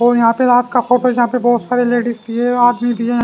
और यहां पे रात का फोटो जहां पे बहुत सारे लेडीज भी है आदमी भी है--